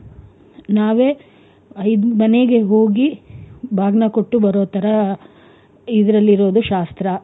ನಾವೇ ಐದು ಮನೆಗೆ ಹೋಗಿ ಬಾಗ್ನ ಕೊಟ್ಟು ಬಾರೋ ತರ ಇದ್ರಲ್ಲಿರುದು ಶಾಸ್ತ್ರ.